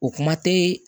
O kuma tɛ